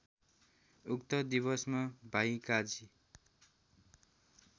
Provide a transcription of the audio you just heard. उक्त दिवसमा भाइकाजी